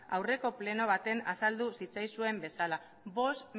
aurreko pleno batean azaldu zitzaizuen bezala bost